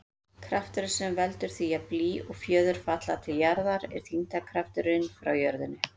Krafturinn sem veldur því að blý og fjöður falla til jarðar er þyngdarkrafturinn frá jörðinni.